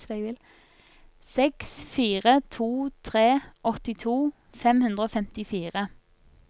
seks fire to tre åttito fem hundre og femtifire